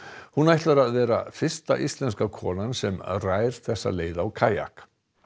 hún ætlar að vera fyrsta íslenska konan sem rær þessa leið á kajak